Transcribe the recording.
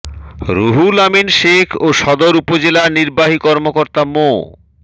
রুহুল আমিন সেখ ও সদর উপজেলা নির্বাহী কর্মকর্তা মো